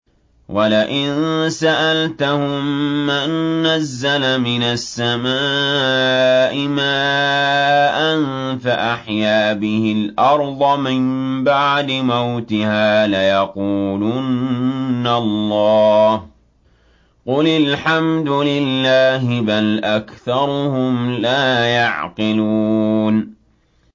وَلَئِن سَأَلْتَهُم مَّن نَّزَّلَ مِنَ السَّمَاءِ مَاءً فَأَحْيَا بِهِ الْأَرْضَ مِن بَعْدِ مَوْتِهَا لَيَقُولُنَّ اللَّهُ ۚ قُلِ الْحَمْدُ لِلَّهِ ۚ بَلْ أَكْثَرُهُمْ لَا يَعْقِلُونَ